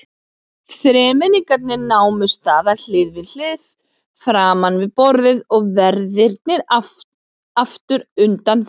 Þremenningarnir námu staðar hlið við hlið framan við borðið og verðirnir aftur undan þeim.